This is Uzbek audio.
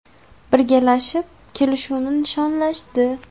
Birgalashib, kelishuvni nishonlashdi.